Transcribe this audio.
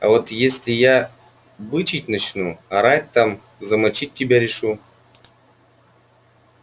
а вот если я бычить начну орать там замочить тебя решу